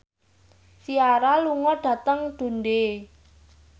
Ciara lunga dhateng Dundee